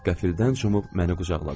Qəfildən cumub məni qucaqladı.